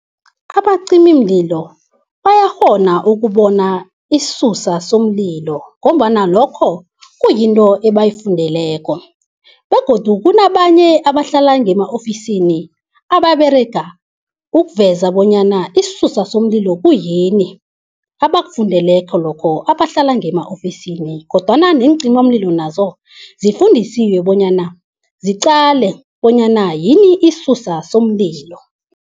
Abacimimlilo bayakghona ukubona isusa somlilo ngombana lokho kuyinto ebayifundeleko, begodu kunabanye abahlala ngema-ofisini ababerega ukuveza bonyana isusa somlilo kuyini? abakufundeleko lokho, abahlala ngema-ofisini. kodwana neencimamlilo nazo zifundisiwe bonyana ziqale bonyana yini isisusa somlilo.